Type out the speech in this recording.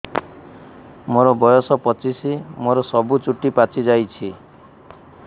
ମୋର ବୟସ ପଚିଶି ମୋର ସବୁ ଚୁଟି ପାଚି ଯାଇଛି